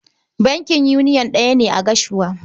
Bankin yuniyon ɗaya ne a Gashua.